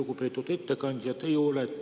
Lugupeetud ettekandja!